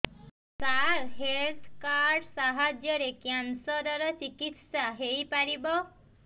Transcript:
ସାର health card ସାହାଯ୍ୟରେ cancer ର ଚିକିତ୍ସା ହେଇପାରିବ